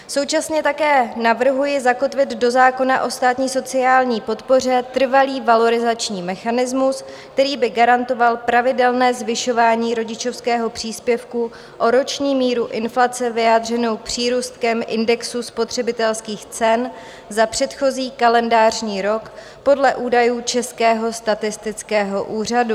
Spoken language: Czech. Současně také navrhuji zakotvit do zákona o státní sociální podpoře trvalý valorizační mechanismus, který by garantoval pravidelné zvyšování rodičovského příspěvku o roční míru inflace vyjádřenou přírůstkem indexu spotřebitelských cen za předchozí kalendářní rok podle údajů Českého statistického úřadu.